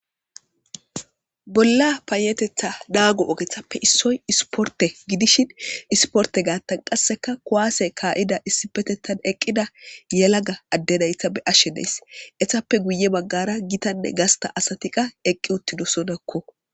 Bolla payetetha naago ogetappe issoy isporte gidishin, isporte gaattan qasseka kuwaase kaa'ida issipetettan eqqida yelaga adde nayta be'ashe de'ays. Eetappe guye baggara gitanne gasta asati qa eqqi uttidosonakko.